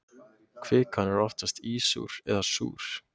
Kvikan er oftast ísúr eða súr.